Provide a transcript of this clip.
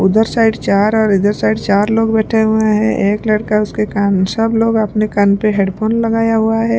उधर साइड चार और इधर साइड चार लोग बैठे हुए हैं एक लड़का उसके कान सब लोग अपने कान पे हेडफोन लगाया हुआ है।